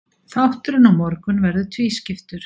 Þátturinn á morgun verður tvískiptur.